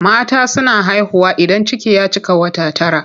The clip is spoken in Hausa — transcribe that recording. Mata suna haihuwa idan ciki ya cika wata tara.